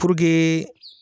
Purke